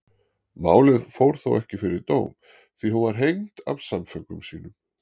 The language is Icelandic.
Málið fór þó ekki fyrir dóm því hún var hengd af samföngum sínum.